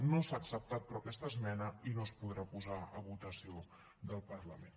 no s’ha acceptat però aquesta esmena i no es podrà posar a votació del parlament